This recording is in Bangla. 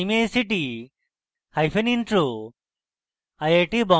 আই আই টী বোম্বে থেকে amal বিদায় নিচ্ছি